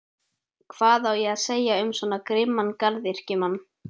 Hvað á að segja um svo grimman garðyrkjumann?